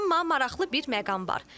Amma maraqlı bir məqam var.